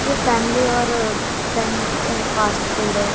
ये फैमिली और friend a fast food है।